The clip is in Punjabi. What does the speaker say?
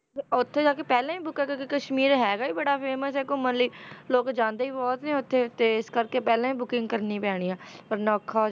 ਉੱਥੇ ਜਾ ਕੇ ਪਹਿਲਾਂ ਹੀ book ਕਰਕੇ ਕਸ਼ਮੀਰ ਹੈਗਾ ਹੀ ਬੜਾ famous ਹੈ ਘੁੰਮਣ ਲਈ, ਲੋਕ ਜਾਂਦੇ ਹੀ ਬਹੁਤ ਨੇ ਉੱਥੇ ਤੇ ਇਸ ਕਰਕੇ ਪਹਿਲਾਂ ਹੀ booking ਕਰਨੀ ਪੈਣੀ ਹੈ, ਵਰਨਾ ਔਖਾ ਹੋ,